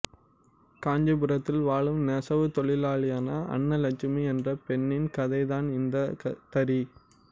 காஞ்சிபுரத்தில் வாழும் நெசவு தொழிலாளியான அன்னலட்சுமி என்ற பெண்ணின் கதை தான் இந்த தறி